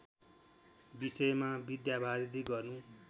विषयमा विद्यावारिधि गर्नु